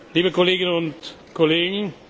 liebe Kolleginnen und Kollegen!